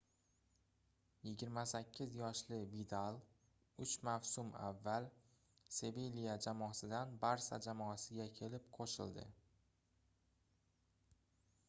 28 yoshli vidal uch mavsum avval sevilya jamoasidan barsa jamoasiga kelib qoʻshildi